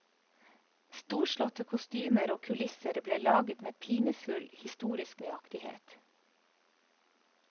Storslåtte kostymer og kulisser ble laget med pinefull historisk nøyaktighet.